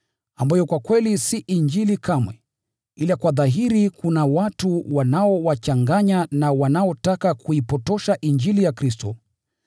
ambayo kwa kweli si Injili kamwe, ila kwa dhahiri kuna watu wanaowachanganya na wanaotaka kuipotosha Injili ya Kristo.